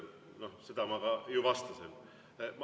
Seda ma ju vastasin.